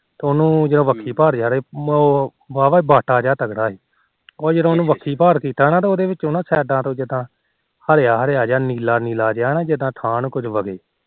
ਤੇ ਉਹਨੂੰ ਵਾਹ ਵਾਹ ਵਾਟਾ ਜਾ ਵੱਝਾ ਸੀ ਤੇ ਉਹਨੂੰ ਜਦੋ ਵੱਖੀ ਭਾਰ ਕੀਤਾ ਨਾ ਤਾ ਉਹਨੂੰ ਸਾਈਡਾ ਤੋ ਜਿਦਾ ਹਰਿਆ ਹਰਿਆ ਨੀਲੀ ਨੀਲੀ ਜਾ ਨਾ ਉਥਾਹ ਨੂੰ ਕੁਝ ਵਗੇ